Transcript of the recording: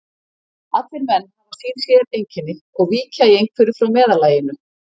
Allir menn hafa sín séreinkenni og víkja í einhverju frá meðallaginu.